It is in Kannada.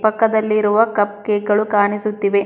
ಪಕ್ಕದಲ್ಲಿ ಇರುವ ಕಪ್ ಕೇಕ್ ಗಳು ಕಾಣಿಸುತ್ತಿವೆ.